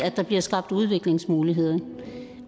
at der bliver skabt udviklingsmuligheder